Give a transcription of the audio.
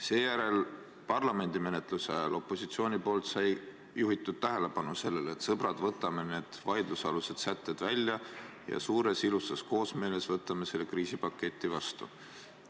Seejärel parlamendis toimunud menetluse ajal juhtis opositsioon tähelepanu sellele, et sõbrad, võtame need vaidlusalused sätted välja ja võtame selle kriisipaketi suures ilusas koosmeeles vastu.